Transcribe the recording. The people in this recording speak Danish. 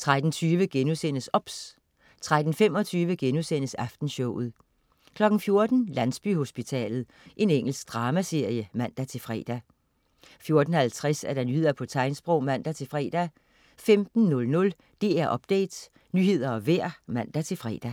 13.20 OBS* 13.25 Aftenshowet* 14.00 Landsbyhospitalet. Engelsk dramaserie (man-fre) 14.50 Nyheder på tegnsprog (man-fre) 15.00 DR Update. Nyheder og vejr (man-fre)